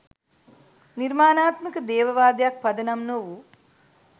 නිර්මාණාත්මක දේව වාදයක් පදනම් නොවූ